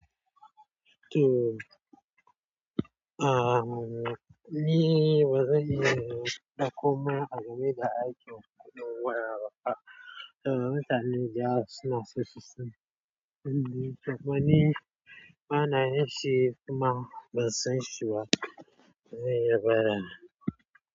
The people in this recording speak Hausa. To, ahhh ni bazanyi ba komai a game da aikin kuɗin wayar ba. Eh, mutane da suna sosai sun, sun yi, to kuma ni bana yi shi kuma ban san shi ba. Sai yabara.